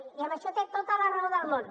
i en això té tota la raó del món